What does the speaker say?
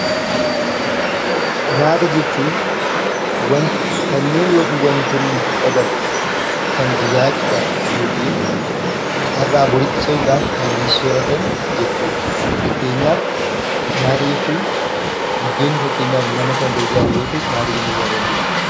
Nyaata jechuun kanneen yookiin wantoonni lubbuu qaban Kan jiraachuudhaaf yookiin har'aa boriitti ce'uudhaaf Kanneen sooratan jechuudha. Fakkeenyaaf nyaata jechuun buddeenni fakkeenyaaf nama Kan gargaaru yoo tahe nyaata jennee waamuu dandeenya.